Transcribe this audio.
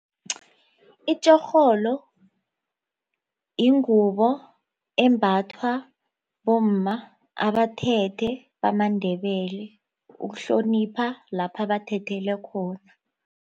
Itjorholo yingubo embathwa bomma abathethe bamaNdebele ukuhlonipha lapha bathethele khona.